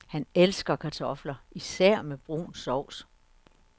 Han elsker kartofler, især med brun sovs.